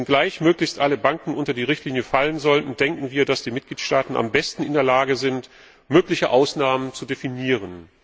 Wenngleich möglichst alle Banken unter die Richtlinie fallen sollten, denken wir, dass die Mitgliedstaaten am besten in der Lage sind, mögliche Ausnahmen zu definieren.